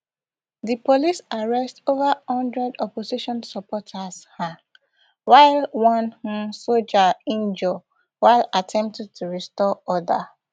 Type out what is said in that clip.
di police arrest ova hundred opposition supporters um while one um soldier injure while attempting to restore order